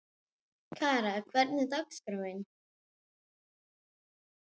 Kara, hvernig er dagskráin?